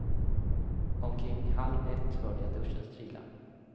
Omkring halv ett hörde jag duschen strila.